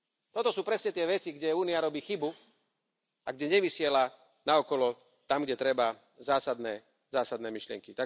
Toto sú presne tie veci, kde Únia robí chybu a kde nevysiela naokolo tam, kde treba, zásadné myšlienky.